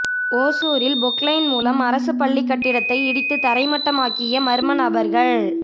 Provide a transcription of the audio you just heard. ஓசூரில் பொக்லைன் மூலம் அரசுப்பள்ளி கட்டிடத்தை இடித்து தரைமட்டமாக்கிய மர்ம நபர்கள்